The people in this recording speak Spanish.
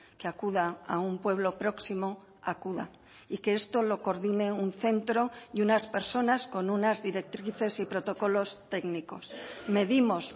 que acuda a un pueblo próximo acuda y que esto lo coordine un centro y unas personas con unas directrices y protocolos técnicos medimos